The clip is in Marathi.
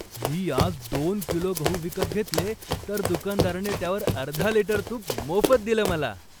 मी आज दोन किलो गहू विकत घेतले, तर दुकानदाराने त्यावर अर्धा लिटर तूप मोफत दिलं मला.